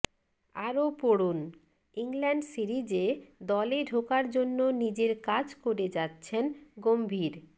আরও পড়ুন ইংল্যান্ড সিরিজে দলে ঢোকার জন্য নিজের কাজ করে যাচ্ছেন গম্ভীর